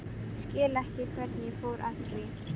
Skil ekki hvernig ég fór að því.